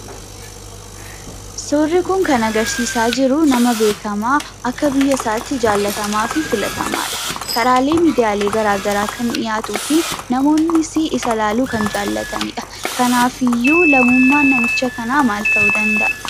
Suurri kun kan agarsiisaa jiruu nama beekamaa akka biyyasaatti jaallatamaafi filatamaadha. Karaalee miidiyaalee garaa garaa kan dhiyaatuufi namoonnisii isa laaluu kan jaallatanidha. Kanaafiyyuu lammummaan namicha kanaa maal ta'uu danda'a?